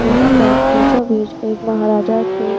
यहां पर बीचो बीच एक महाराजा की--